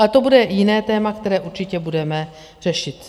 Ale to bude jiné téma, které určitě budeme řešit.